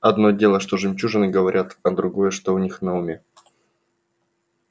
одно дело что жемчужены говорят а другое что у них на уме